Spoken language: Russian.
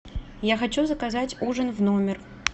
я хочу заказать ужин в номер